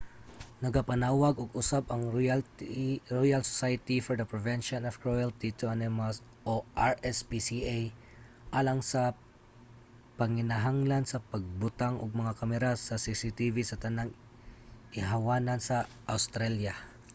nagapanawag og usab ang royal society for the prevention of cruelty to animals rspca alang sa panginahanglan sa pagbutang og mga kamera sa cctv sa tanang ihawanan sa awstralya